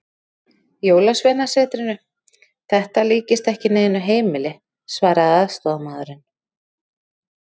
Jólasveinasetrinu, þetta líkist ekki neinu heimili, svaraði aðstoðarmaðurinn.